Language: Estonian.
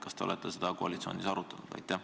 Kas te olete seda koalitsioonis arutanud?